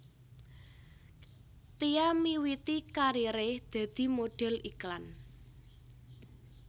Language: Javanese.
Tia miwiti kariré dadi modhél iklan